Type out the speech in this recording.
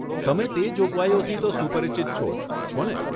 તમે તે જોગવાઈઓથી તો સુપરિચિત છો જ, છોને?